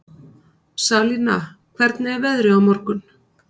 Salína, hvernig er veðrið á morgun?